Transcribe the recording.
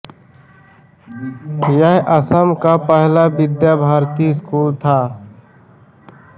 यह असम का पहला विद्या भारती स्कूल था